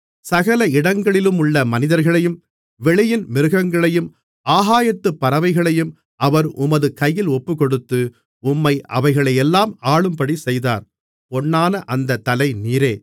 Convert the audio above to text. சகல இடங்களிலுமுள்ள மனிதர்களையும் வெளியின் மிருகங்களையும் ஆகாயத்துப் பறவைகளையும் அவர் உமது கையில் ஒப்புக்கொடுத்து உம்மை அவைகளையெல்லாம் ஆளும்படி செய்தார் பொன்னான அந்தத் தலை நீரே